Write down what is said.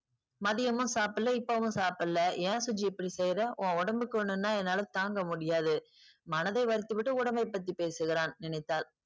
மதியமும் சாப்பிடல இப்பவும் சாப்பிடல ஏன் சுஜி இப்படி செய்றே? உன் உடம்புக்கொண்ணுன்னா என்னால தாங்க முடியாது. மனதை வருத்தி விட்டு உடம்பை பத்தி பேசுகிறான் நினைத்தாள்.